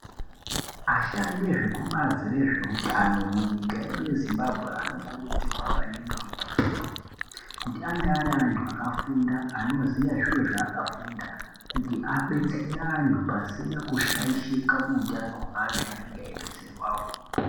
Ashandi ezvebazi rezveutano munyika yedu yeZimbabwe anokurudzirwa maningi kuti ange ari anthu akafunda anoziye zviro zvaakafunda kuti abetsere anthu pasina kushaishika muutano hweanthu anenge eibetserwawo.